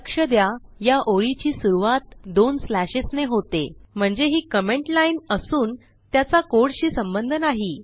लक्ष द्या या ओळीची सुरवात दोन स्लॅशेस ने होते म्हणजे ही कमेंट लाईन असून त्याचा codeशी संबंध नाही